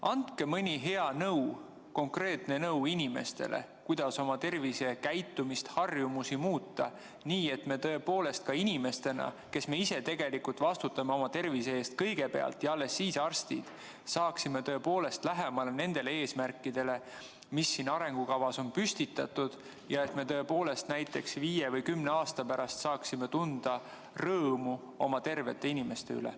Andke mõni hea nõuanne, konkreetne nõuanne inimestele, kuidas oma tervisekäitumist ja harjumusi muuta, et me tõepoolest ka inimestena, kes me kõigepealt ise vastutame oma tervise eest ja alles siis teevad seda arstid, saaksime lähemale nendele eesmärkidele, mis siin arengukavas on püstitatud, ja et me tõepoolest näiteks viie või kümne aasta pärast saaksime tunda rõõmu oma tervete inimeste üle.